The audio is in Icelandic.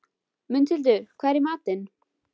Mundhildur, hvað er í matinn?